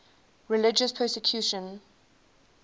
religious persecution